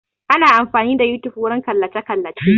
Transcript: Ana amfani da yotube wurin kallace kallace